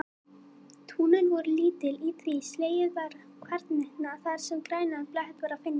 Túnin voru lítil og því var slegið hvarvetna þar sem grænan blett var að finna.